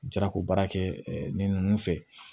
Jarako baara kɛ ni ninnu fɛ